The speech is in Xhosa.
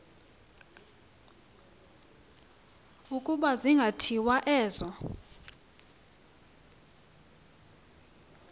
ukuba zingathinjwa ezo